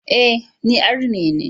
E, ni Arne ne.